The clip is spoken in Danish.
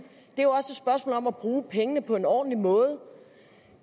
og om at bruge pengene på en ordentlig måde